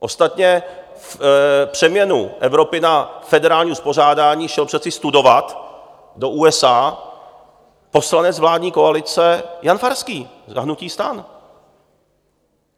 Ostatně přeměnu Evropy na federální uspořádání šel přece studovat do USA poslanec vládní koalice Jan Farský za hnutí STAN.